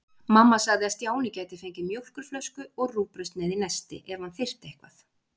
Mamma sagði að Stjáni gæti fengið mjólkurflösku og rúgbrauðssneið í nesti ef hann þyrfti eitthvað.